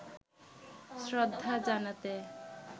শ্রদ্ধা জানাতে